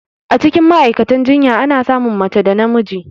Acikin Ma'aikatan jinya Ana samun mace da namiji